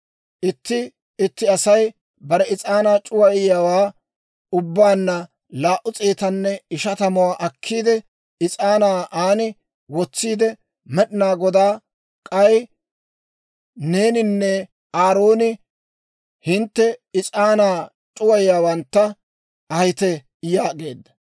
Itti itti Asay bare is'aanaa c'uwayiyaawaa ubbaanna laa"u s'eetanne ishatamuwaa akkiide, is'aanaa aan wotsiide, Med'inaa Godaa sintsa shiishsho. K'ay neeninne Aarooni hintte is'aanaa c'uwayiyaawantta ahite» yaageedda.